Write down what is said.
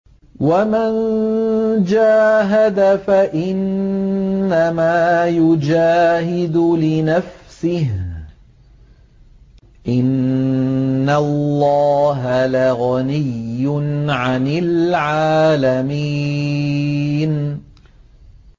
وَمَن جَاهَدَ فَإِنَّمَا يُجَاهِدُ لِنَفْسِهِ ۚ إِنَّ اللَّهَ لَغَنِيٌّ عَنِ الْعَالَمِينَ